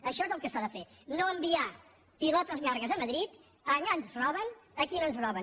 això és el que s’ha de fer no enviar pilotes llargues a madrid allà ens roben aquí no ens roben